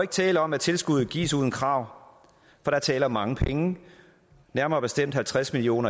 tale om at tilskuddet gives uden krav for der er tale om mange penge nærmere bestemt halvtreds million